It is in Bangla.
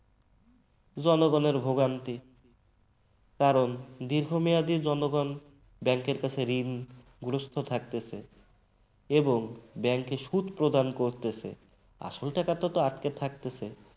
জনগণের ভোগান্তি কারণ দীর্ঘমেয়াদি জনগণ bank র কাছে ঋণগ্রস্থ থাকিতেছে এবং bank এ সুদ প্রদান করতেছে আসল টাকা তো আটকে থাকতেছে